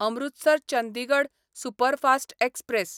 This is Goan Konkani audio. Amritsar Chandigarh superfast express